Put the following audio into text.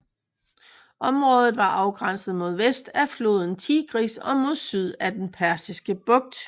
Området var afgrænset mod vest af floden Tigris og mod syd af den Persiske Bugt